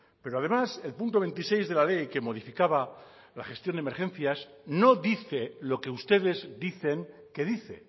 pero además el punto veintiséis de la ley que modificaba la gestión de emergencias no dice lo que ustedes dicen que dice